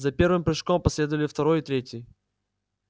за первым прыжком последовали второй и третий